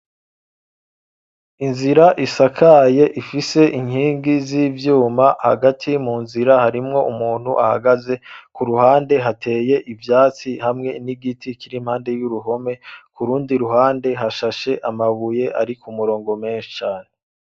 Inzira isakaye ifise inkingi z'ivyuma hagati mu nzira harimwo umuntu ahagaze ku ruhande hateye ivyatsi hamwe n'igiti giteye hafi y'uruhome ahandi hashashe amabuye ari ku murongo menshi cane.